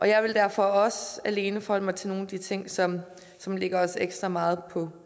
jeg vil derfor også alene forholde mig til nogle af de ting som som ligger os ekstra meget på